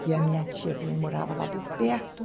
Que a minha tia também morava lá por perto.